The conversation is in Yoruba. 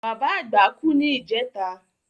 Bàbá àgbà kú ní ìjẹta